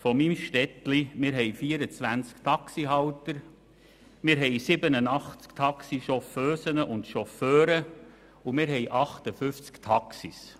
Bei uns gibt es 24 Taxihalter, 87 Taxichauffeusen und Taxichauffeure und 58 Taxis.